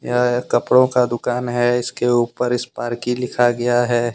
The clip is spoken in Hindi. यह एक कपड़ों का दुकान है इसके ऊपर स्पार्की लिखा गया है।